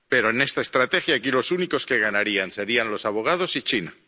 Pero en esta estrategia, aquí los únicos que ganarían serían los abogados y China.